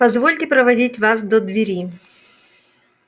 позвольте проводить вас до двери